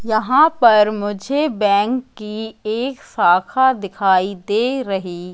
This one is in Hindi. यहां पर मुझे बैंक की एक शाखा दिखाई दे रही--